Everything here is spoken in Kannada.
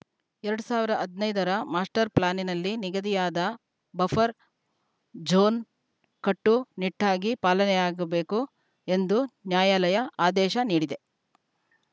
ಎರಡು ಸಾವಿರದ ಹದಿನೈದ ರ ಮಾಸ್ಟರ್‌ ಪ್ಲಾನ್‌ನಲ್ಲಿ ನಿಗದಿಯಾದ ಬಫರ್‌ ಜೋನ್‌ ಕಟ್ಟು ನಿಟ್ಟಾಗಿ ಪಾಲನೆಯಾಗಬೇಕು ಎಂದು ನ್ಯಾಯಾಲಯ ಆದೇಶ ನೀಡಿದೆ